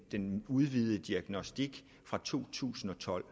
den udvidede diagnostik fra to tusind og tolv